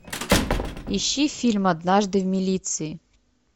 ищи фильм однажды в милиции